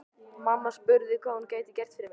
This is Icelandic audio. Mamma spurði hvað hún gæti gert fyrir mig.